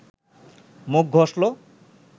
মুখ ঘষল